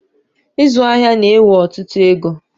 Ịzụ ahịa na ewe ọtụtụ égo